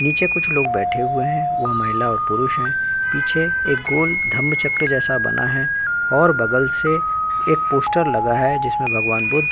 नीचे कुछ लोग बैठे हुए हैं वो महिला और पुरुष हैं पीछे एक गोल्ड धर्म चक्र जैसा बना है और बगल से एक पोस्टर लगा है जिसमे भगवान् बुद्ध --